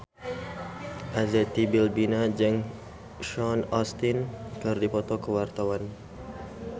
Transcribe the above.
Arzetti Bilbina jeung Sean Astin keur dipoto ku wartawan